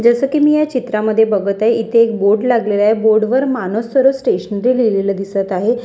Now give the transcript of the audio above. जसं की मी या चित्रामध्ये बघत आहे इथे एक बोर्ड लागलेला आहे बोर्ड वर मानस सरे स्टेशनरी लिहिलेलं दिसत आहे.